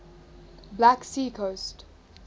black sea coast